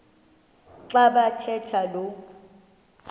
xa bathetha lo